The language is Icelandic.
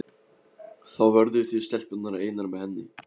Þá verðið þið stelpurnar einar með henni.